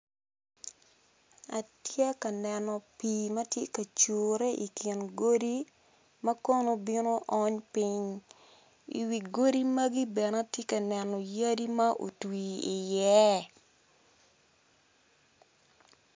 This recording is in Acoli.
Atye ka neno pii matye ka cure ikin godi ma kono bino ony piny iwi godi magi bene atye ka neno yadi ma otwi i iye.